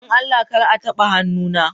Don Allah kar a taɓa hannuna!